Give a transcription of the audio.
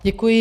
Děkuji.